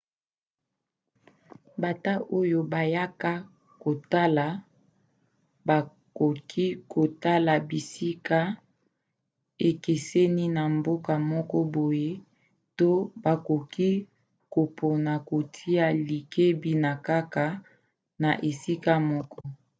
bata oyo bayaka kotala bakoki kotala bisika ekeseni na mboka moko boye to bakoki kopona kotia likebi kaka na esika moko